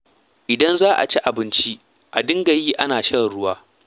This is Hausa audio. Idan za a ci abinci, a dinga yi ana shan ruwa.